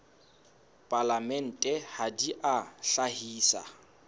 palamente ha di a hlahisa